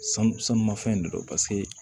Sanu sanu mafɛn de don paseke